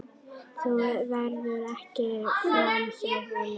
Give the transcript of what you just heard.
Þú ferð ekki framhjá honum.